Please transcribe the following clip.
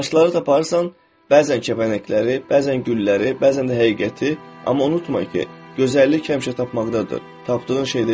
Daşları taparsan, bəzən kəpənəkləri, bəzən gülləri, bəzən də həqiqəti, amma unutma ki, gözəllik həmişə tapmaqdadır, tapdığın şeydə yox.